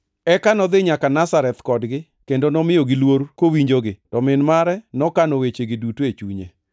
Eka nodhi nyaka Nazareth kodgi kendo nomiyogi luor kowinjogi. To min mare nokano wechegi duto e chunye.